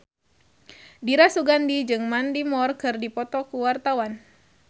Dira Sugandi jeung Mandy Moore keur dipoto ku wartawan